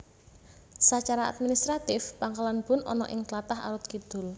Sacara administratif Pangkalan Bun ana ing tlatah Arut Kidul